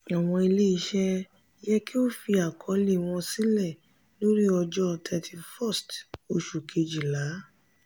awọn ile-iṣẹ yẹ ki o fi akọọlẹ wọn sílẹ̀ lórí ọjọ́ thirty first oṣù kejìlá.